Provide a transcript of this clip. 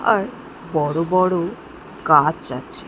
আর বড় বড় গাছ আছে।